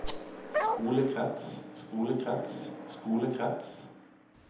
skolekrets skolekrets skolekrets